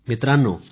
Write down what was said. मित्रांनो